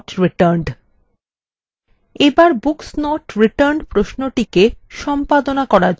এবার books not returned প্রশ্নটিকে সম্পাদনা করার জন্য খুলুন